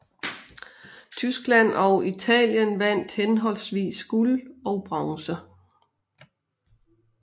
Tyskland og Italien vandt henholdsvis guld og bronze